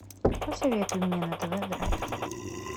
посоветуй мне на тв драйв